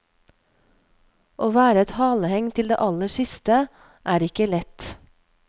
Å være et haleheng til det aller siste er ikke lett.